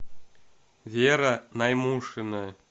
вера наймушина